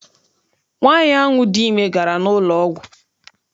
Nwaanyi ahụ dị ime gara n'ụlọ ọgwụ.